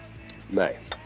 nei